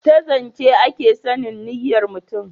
ta zance a ke sanin niyyar mutum